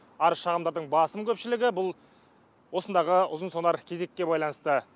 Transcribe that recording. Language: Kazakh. арыз шағымдардың басым көпшілігі бұл осындағы ұзын сонар кезекке байланысты